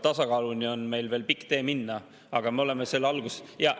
Tasakaaluni on meil veel pikk tee minna, aga me oleme selle alguses.